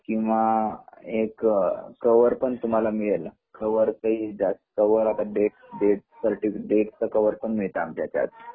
किंवा एक कवर तुम्हाला मिळेल कवर डेट डेट च कवर पण देता मिळत आमच्या याचात